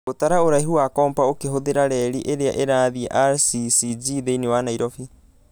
Gũtara ũraihu na kompa ũkihũthĩra reri ĩrĩa ĩrathiĩ rccg thĩinĩ wa Nairobi